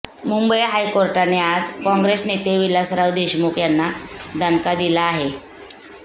मुंबई हायकोर्टाने आज काँग्रेस नेते विलासराव देशमुख यांना दणका दिला आहे